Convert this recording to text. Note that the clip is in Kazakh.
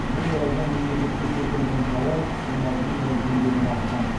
бұл орайда мемлекетке келтірілген залал он алты миллион теңгеден асқан